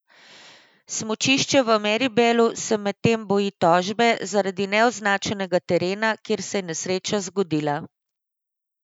Smučišče v Meribelu se medtem boji tožbe zaradi neoznačenega terena, kjer se je nesreča zgodila.